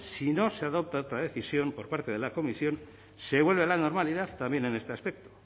si no se adopta otra decisión por parte de la comisión se vuelve a la normalidad también en este aspecto